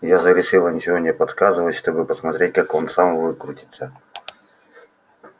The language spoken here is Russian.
я же решила ничего не подсказывать чтобы посмотреть как он сам выкрутится